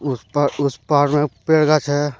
उस पार में पेड़ का छाया--